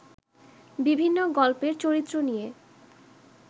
বিভিন্ন গল্পের চরিত্র নিয়ে